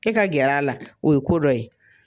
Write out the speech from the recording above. E ka gɛr'a la o ye ko dɔ ye.